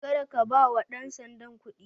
Kada ka bawa ɗan sandan kuɗi.